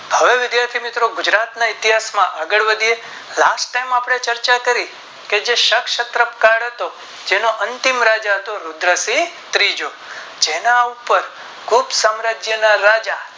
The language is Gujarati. હવે વિધાથી મિત્રો ગુજરાત ના ઇતિહાસ માં આગળ વધીયે Last time આપણે ચર્ચા કરી કે જે ક્ષત ક્ષત્ર કલ હતો જેનો અંતિમ રાજા હતો રુદ્રસિંહ ત્રીજો જેના ઉપર ફૂટ સામ્રારાજ્ય ના રાજા